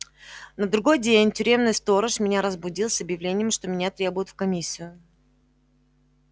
на другой день тюремный сторож меня разбудил с объявлением что меня требуют в комиссию